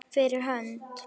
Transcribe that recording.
Fyrir hönd.